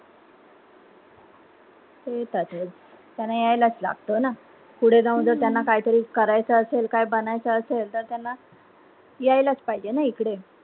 ते येतातच त्यांना यायलाच लगत ना पुढे जाऊन त्यांना काय तरी करायच असेल काय बनायचं असेल तर त्यांना यायलाच पाहिजे ना इकडे.